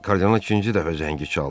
Kardinal ikinci dəfə zəngi çaldı.